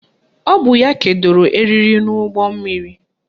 Ọ bụ ya kedoro eriri n'ụgbọmmiri